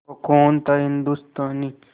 वो खून था हिंदुस्तानी